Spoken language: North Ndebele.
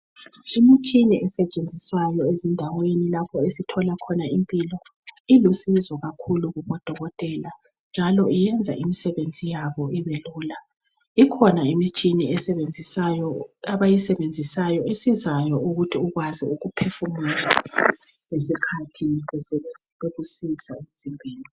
Imitshina esetshenziswayo ezindaweni lapho esithola khona impilo, ilusizo kakhulu kubodokotela njalo iyenza imisebenzi yabo ibelula. Ikhona imitshina abayisebenzisayo esizayo ukuthi ukwazi ukuphefumula ngesikhathi bekusiza.